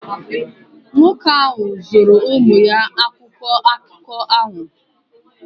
Nwoke ahụ zụụru ụmụ ya akwụkwọ akụkọ ahụ.